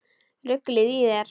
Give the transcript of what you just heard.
Ruglið í þér!